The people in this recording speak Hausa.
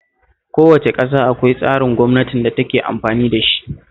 Kowace ƙasa akwai tsarin gwamnatin da take amfani da shi